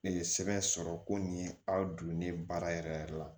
Ne ye sɛbɛn sɔrɔ ko nin aw donnen baara yɛrɛ yɛrɛ la